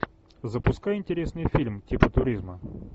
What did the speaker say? запускай интересный фильм типа туризма